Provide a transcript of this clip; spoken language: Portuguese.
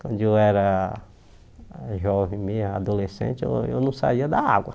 Quando eu era jovem me, adolescente, eu não saía da água.